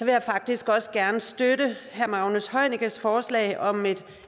jeg faktisk også gerne støtte herre magnus heunickes forslag om et